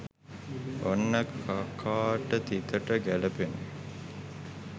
ඔන්න කකාට තිතට ගැලපෙන